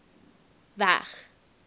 w e g